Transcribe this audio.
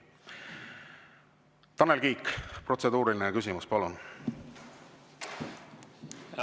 Tanel Kiik, protseduuriline küsimus, palun!